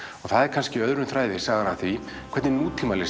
það er kannski öðrum þræði sagan af því hvernig